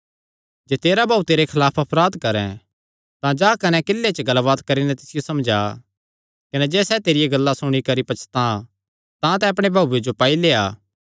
जे तेरा भाऊ तेरे खलाफ अपराध करैं तां जा कने किल्ले च गल्लबात करी नैं तिसियो समझा कने जे सैह़ तेरिया गल्लां सुणी करी पछतां तां तैं अपणे भाऊये जो पाई लेआ